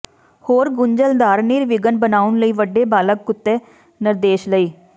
ਹੋਰ ਗੁੰਝਲਦਾਰ ਨਿਰਵਿਘਨ ਬਣਾਉਣ ਲਈ ਵੱਡੇ ਬਾਲਗ ਕੁੱਤੇ ਨਿਰਦੇਸ਼ ਲਈ